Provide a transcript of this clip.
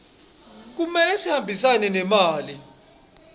kumele sihambisane nemali